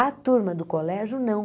A turma do colégio, não.